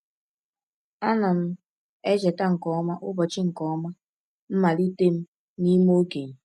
A na m echeta nke ọma ụbọchị nke ọma ụbọchị mmalite m n’ime okenye.